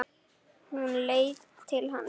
Hún leit til hans.